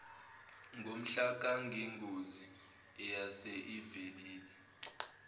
ngomhlakangengozi eyase ivelile